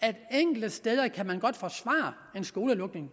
at enkelte steder kan man godt forsvare en skolelukning